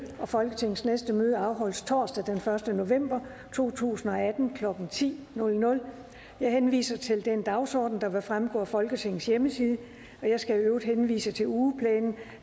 folketingets næste møde afholdes torsdag den første november to tusind og atten klokken ti jeg henviser til den dagsorden der vil fremgå af folketingets hjemmeside jeg skal øvrigt henvise til ugeplanen